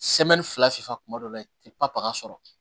fila sufɛ kuma dɔ la i tɛ papa sɔrɔ